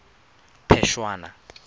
phešwana